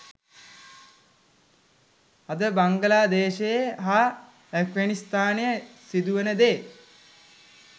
අද බංගලාදේශයේ හා ඇෆ්ගනිස්ථානයේ සිදුවෙන දේ